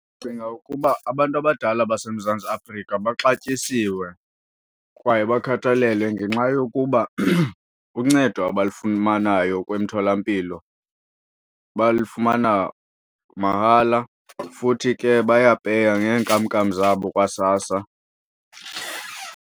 Ndicinga ukuba abantu abadala baseMzantsi Afrika baxatyisiwe kwaye bakhathalelwe ngenxa yokuba uncedo abalifumanayo kwemithola mpilo balifumana mahala futhi ke bayapeya neenkamnkam zabo kwaSASSA.